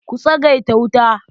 Ku tsagaita wuta.